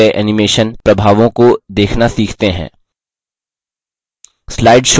अब हमारे द्वारा किये गये animation प्रभावों को देखना सीखते हैं